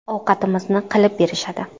Ovqatimizni qilib berishadi.